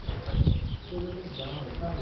Nossa, que coisa legal, sabe?